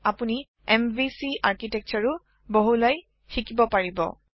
আপুনি এমভিচি আৰ্কিটেকটোৰে ও বহলাই শিকিব পাৰিব